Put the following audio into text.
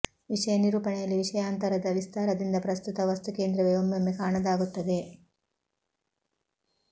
ವಿಷಯ ನಿರೂಪಣೆಯಲ್ಲಿ ವಿಷಯಾಂತರದ ವಿಸ್ತಾರದಿಂದ ಪ್ರಸ್ತುತ ವಸ್ತು ಕೇಂದ್ರವೇ ಒಮ್ಮೊಮ್ಮೆ ಕಾಣದಾಗುತ್ತದೆ